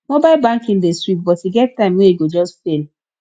mobile banking dey sweet but e get time wey e go just fail